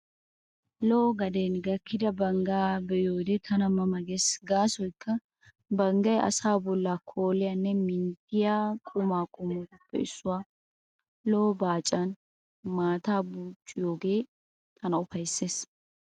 Lo''o gaden gakkida banggaa be'iyoode tana ma ma gees gaasoykka banggay asaa bollaa kooliyaannee minttettiyaa quma qommotuppe issuwaa. Lo'o baacan maataa buucciyoogee tana ufayssees.